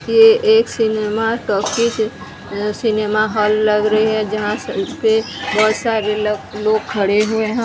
ये एक cinema talkies अ सिनेमा हॉल लग रही है जहां स पे बहोत सारे लग लोग खड़े हुए ह ।